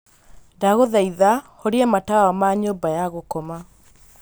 ndagūthaitha horia matawa ma nyūmba ya gūkoma